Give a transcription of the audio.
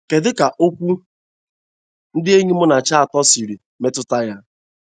Kedụ ka okwu ndi enyi Munachi atọ siri metụta ya?